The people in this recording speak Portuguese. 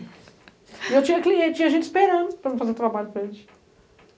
E eu tinha cliente, tinha gente esperando para fazer trabalho para eles.